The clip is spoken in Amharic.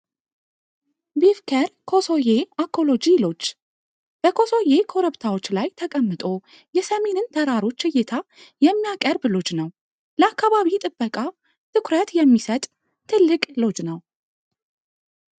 ቢፍከል ኮሶየ አኮሎጂ ሎጂ በኮሶዬ ኮረብታዎች ላይ ተቀምጦ የሰሜንን ተራሮችን እይታ የሚያቀርብ ሎጂ ነው። ለአካባቢ ጥበቃ ትኩረት የሚሰጥ ትልቅ ሎጂ ነው።